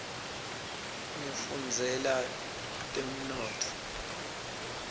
ngifundzela temnotfo